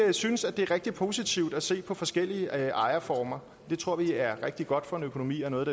vi synes det er rigtig positivt at se på forskellige ejerformer det tror vi er rigtig godt for en økonomi og noget